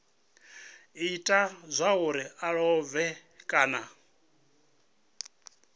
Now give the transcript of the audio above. ita zwauri a lovhe kana